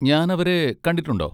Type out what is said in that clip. ഞാൻ അവരെ കണ്ടിട്ടുണ്ടോ?